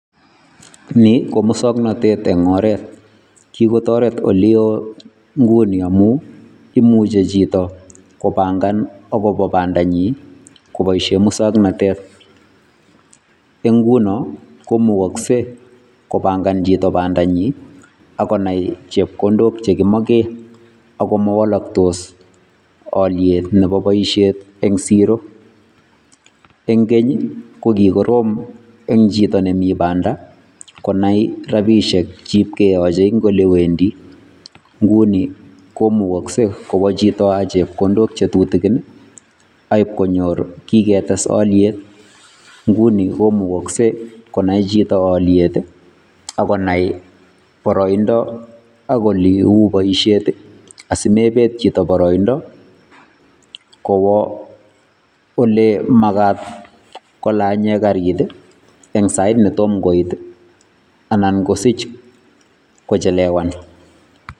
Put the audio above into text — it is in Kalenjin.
Nii ko musaknatet en oret kikotareet ole wooh nguni amuu, imuche chitoo kopangaan agobo bandanyiin kibaisheen musaknatet en ngunoo ko mukaksei kopangaan chitoo bandanyiin ak konai chepkondook chekimaken ago mawalaktos aliet nemabi bosiet en siro, en keeny ko kikorom en chitoo nemae Banda konai rapisheek cheib keyachei en ole wendii nguni ko kowaa chitoo ak chepkondook che tutugin aib konyoor kiketes aliet konai chitoo aliet ii akonai baraindaa ak ole uu boisiet asimebet chitoo baraindaa kowaa ole magaat kolanyeen kariit ii en sait ne tomah koyeet anan kosiich kochelewaan.